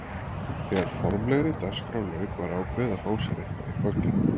Þegar formlegri dagskrá lauk var ákveðið að fá sér eitthvað í gogginn.